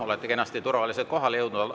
Olete kenasti turvaliselt kohale jõudnud.